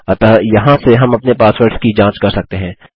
अतः यहाँ से हम अपने पासवर्ड्स की जाँच कर सकते हैं